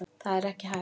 Það er ekki hægt.